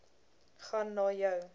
gaan na jou